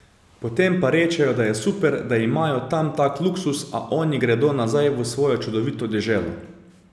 Potem pa rečejo, da je super, da imajo tam tak luksuz, a oni gredo nazaj v svojo čudovito deželo.